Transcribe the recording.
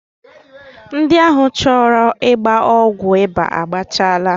Ndị ahụ e chere ọgwụ ịba agbakechaala